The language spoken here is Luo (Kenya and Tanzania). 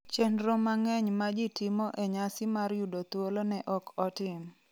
chenro mang’eny ma ji timo e nyasi mar yudo thuolo ne ok otim